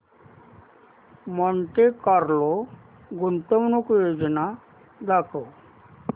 Monte Carlo गुंतवणूक योजना दाखव